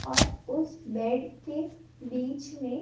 और उस बेड के बीच में--